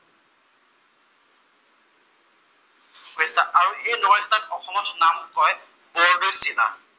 আৰু সেই নৰৱেষ্টাৰ অসমত নাম কয় বৰদৈচিলা।